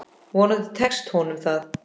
Vonandi tekst honum það.